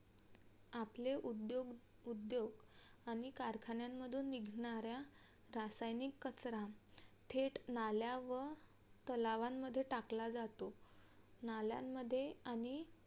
आपले उदयो उद्योग आणि कारखान्यांमधुन निघणाऱ्या रासायनिक कचरा थेट नाल्या व तलावांमध्ये टाकला जातो. नाल्यांमध्ये आणि